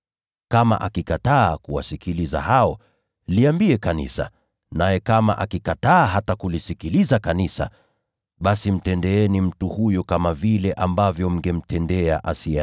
Kama akikataa kuwasikiliza hao, liambie kanisa. Naye kama akikataa hata kulisikiliza kanisa, basi awe kwenu kama mtu asiyeamini au mtoza ushuru.